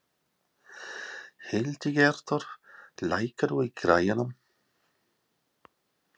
Hildigerður, lækkaðu í græjunum.